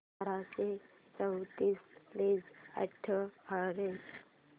बाराशे चौतीस प्लस अठ्याहत्तर